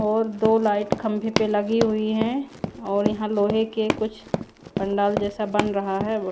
और दो लाईट खम्बे पे लगी हुई है और यहाँ लोहे के कुछ पंडाल जैसा बन रहा है।